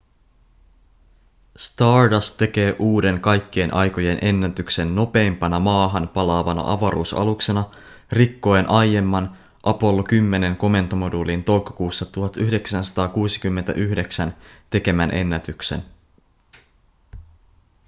stardust tekee uuden kaikkien aikojen ennätyksen nopeimpana maahan palaavana avaruusaluksena rikkoen aiemman apollo 10:n komentomoduulin toukokuussa 1969 tekemän ennätyksen